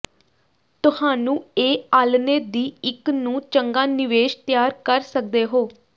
ਤੁਹਾਨੂੰ ਇਹ ਆਲ੍ਹਣੇ ਦੀ ਇੱਕ ਨੂੰ ਚੰਗਾ ਨਿਵੇਸ਼ ਤਿਆਰ ਕਰ ਸਕਦੇ ਹੋ